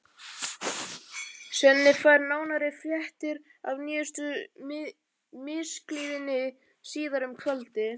Svenni fær nánari fréttir af nýjustu misklíðinni síðar um kvöldið.